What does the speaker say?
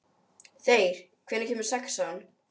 Þeyr, hvenær kemur sexan?